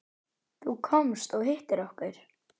Þú komst og hittir okkur.